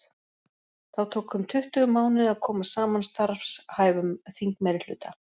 Þá tók um tuttugu mánuði að koma saman starfhæfum þingmeirihluta.